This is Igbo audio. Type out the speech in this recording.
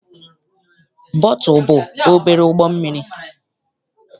Bootu bụ obere ụgbọ mmiri.